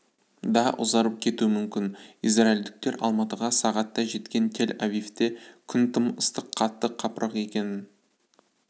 да ұзарып кетуі мүмкін израильдіктер алматыға сағатта жеткен тель-авивте күн тым ыстық қатты қапырық екенін